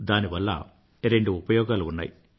దానివల్ల రెండు ఉపయోగాలు ఉన్నయి